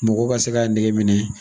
Mɔgɔ ka se k' nege minɛ.